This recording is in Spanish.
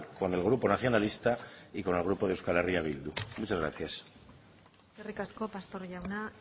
con el grupo nacionalista y con el grupo de euskal herria bildu muchas gracias eskerrik asko pastor jauna